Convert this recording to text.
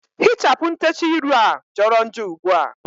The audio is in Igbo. Hichapụ ntechaa ịrụ a jọrọ njọ ugbua!